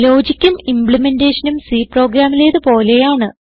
ലോജിക്കും ഇംബ്ലിമെന്റെഷനും C പ്രോഗ്രാമിലേത് പോലെയാണ്